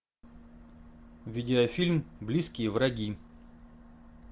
видеофильм близкие враги